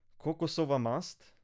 Kokosova mast?